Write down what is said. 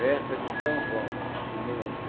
Véspera de São João, de mil